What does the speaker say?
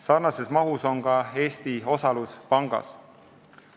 Sarnase mahuga on ka Eesti osalus pangas.